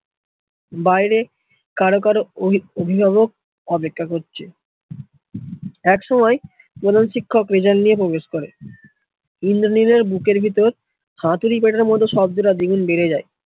বাইরে কারো কারো অভিভাবক অপেক্ষা করছে, একসময় প্রধান শিক্ষক প্রবেশ করে ইন্দ্রনীলের বুকের ভিতর হাতুড়ি কাঁটার মতো বেড়ে যায়